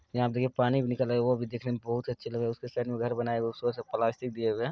यहां पे देखिए पानी भी निकल रहा है वो भी देखने में बहुत अच्छे लग रहे हैं उसके साइड में घर बनाए उसे पर से प्लास्टिक दिए हुए हैं।